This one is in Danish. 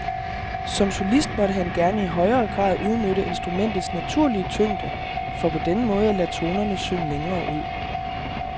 Som solist måtte han gerne i højere grad udnytte instrumentets naturlige tyngde for på denne måde at lade tonerne synge længere ud.